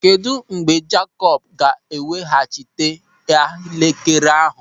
Kedụ mgbe Jakop ga-eweghachita elekere ahụ?